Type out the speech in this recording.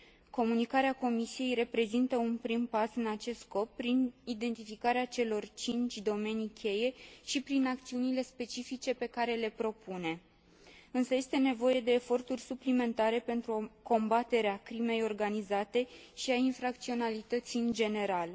Comunicarea Comisiei reprezintă un prim pas în acest scop prin identificarea celor cinci domenii cheie și prin acțiunile specifice pe care le propune, însă este nevoie de eforturi suplimentare pentru combaterea crimei organizate și a infracționalității în general.